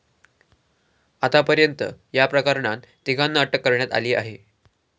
आतापर्यंत या प्रकरणात तिघांना अटक करण्यात आली आहे.